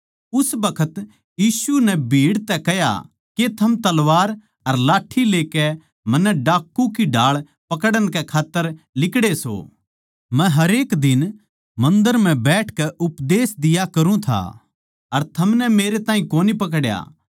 उस बखत यीशु नै भीड़ तै कह्या के थम तलवार अर लाठ्ठी लेकै मन्नै डाकू की ढाळ पकड़न कै खात्तर लिकड़े सो मै हरेक दिन मन्दर म्ह बैठकै उपदेश दिया करूँ था अर थमनै मेरै ताहीं कोनी पकड्या